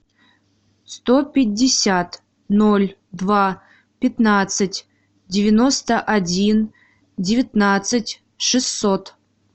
сто пятьдесят ноль два пятнадцать девяносто один девятнадцать шестьсот